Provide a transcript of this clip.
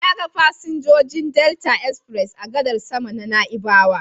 Na ga fasinjojin Delta express a gadar sama ta Na'ibawa.